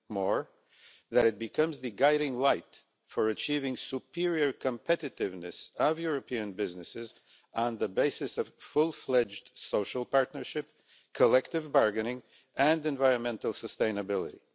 Moreover, it must become the guiding light for achieving superior competitiveness of European businesses on the basis of fully fledged social partnership, collective bargaining and environmental sustainability.